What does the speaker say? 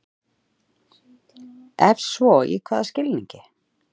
Ef svo í hvaða skilningi?